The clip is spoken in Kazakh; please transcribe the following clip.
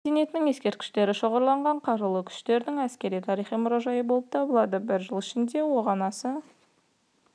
мен мәдениетінің ескерткіштері шоғырланған қарулы күштердің әскери-тарихи мұражайы болып табылады бір жыл ішінде оған аса